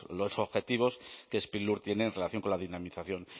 los objetivos que sprilur tiene en relación con la dinamización